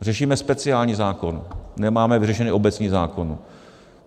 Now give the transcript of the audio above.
Řešíme speciální zákon, nemáme vyřešený obecný zákon.